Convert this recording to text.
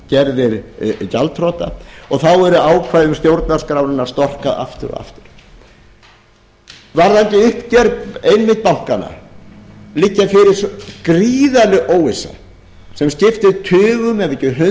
og þeir gerðir gjaldþrota og þá er ákvæðum stjórnarskrárinnar storkað aftur og aftur varðandi uppgjör einmitt bankanna liggur fyrir gríðarleg óvissa sem skiptir tugum ef